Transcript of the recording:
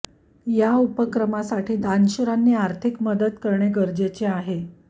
या उपक्र मासाठी दानशूरांनी आर्थिक मदत करणे गरजेचे आहे